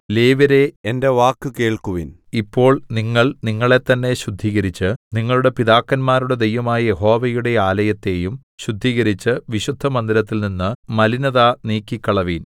ലേവ്യരേ എന്റെ വാക്കു കേൾക്കുവിൻ ഇപ്പോൾ നിങ്ങൾ നിങ്ങളെത്തന്നെ ശുദ്ധീകരിച്ച് നിങ്ങളുടെ പിതാക്കന്മാരുടെ ദൈവമായ യഹോവയുടെ ആലയത്തെയും ശുദ്ധീകരിച്ച് വിശുദ്ധമന്ദിരത്തിൽ നിന്ന് മലിനത നീക്കിക്കളവിൻ